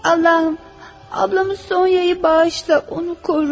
Allahım, bacım Sonyanı bağışla, onu qoru.